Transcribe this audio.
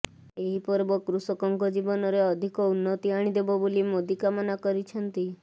ଏହି ପର୍ବ କୃଷକଙ୍କ ଜୀବନରେ ଅଧିକ ଉନ୍ନତି ଆଣିଦେବ ବୋଲି ମୋଦି କାମନା କରିଛନ୍ତି